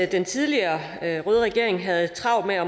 den tidligere røde regering havde travlt med at